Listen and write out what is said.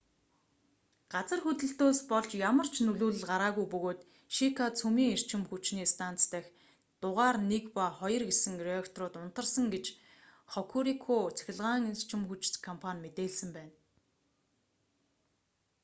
газар хөдлөлтөөс болж ямар ч нөлөөлөл гараагүй бөгөөд шика цөмийн эрчим хүчний станц дахь дугаар 1 ба 2 гэсэн реакторууд унтарсан гэж хокурику цахилгаан эрчим хүч компани мэдээлсэн байна